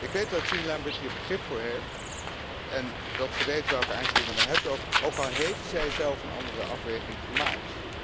Ik weet dat Jean Lambert hier begrip voor heeft en dat ze weet welke aarzelingen we hebben, ook al heeft zijzelf een andere afweging gemaakt.